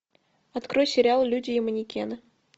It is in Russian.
открой сериал люди и манекены